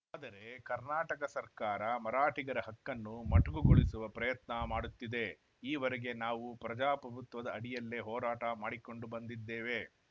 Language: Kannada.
ಆದರೆ ಕರ್ನಾಟಕ ಸರ್ಕಾರ ಮರಾಠಿಗರ ಹಕ್ಕನ್ನು ಮೊಟಕುಗೊಳಿಸುವ ಪ್ರಯತ್ನ ಮಾಡುತ್ತಿದೆ ಈವರೆಗೆ ನಾವು ಪ್ರಜಾಪ್ರಭುತ್ವದ ಅಡಿಯಲ್ಲೇ ಹೋರಾಟ ಮಾಡಿಕೊಂಡು ಬಂದಿದ್ದೇವೆ